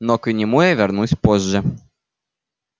но к нему я вернусь позже